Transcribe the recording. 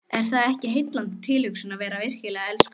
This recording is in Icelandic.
Er það ekki heillandi tilhugsun að vera virkilega elskuð?